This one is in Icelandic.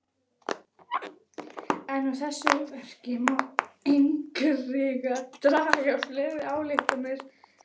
En af þessu verki má einnig draga fleiri ályktanir.